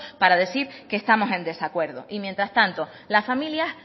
para decir que estamos en desacuerdo y mientras tanto las familias